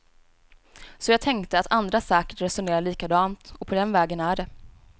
Så jag tänkte att andra säkert resonerar likadant, och på den vägen är det.